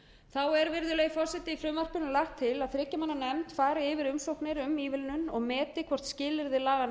þá er virðulegi forseti í frumvarpinu lagt til að þriggja manna nefnd fari yfir umsóknir um ívilnun og meti hvort skilyrði laganna